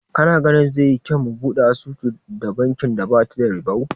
Kana ganin zai yi kyau mu buɗe asusu da bankin da bata da ribau?